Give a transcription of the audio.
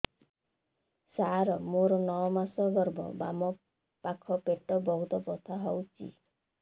ସାର ମୋର ନଅ ମାସ ଗର୍ଭ ବାମପାଖ ପେଟ ବହୁତ ବଥା ହଉଚି